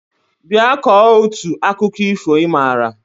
Bịa kọọ otu akụkọ ifo ị maara!